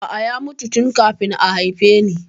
A'a, ya mutu tun kafin a haife ni